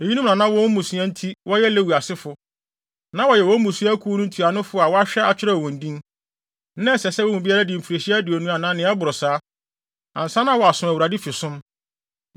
Eyinom na na wɔn mmusua nti wɔyɛ Lewi asefo, na wɔyɛ wɔn mmusua akuw no ntuanofo a na wɔahwɛ akyerɛw wɔn din. Na ɛsɛ sɛ wɔn mu biara di mfirihyia aduonu anaa nea ɛboro saa, ansa na waso Awurade fi som.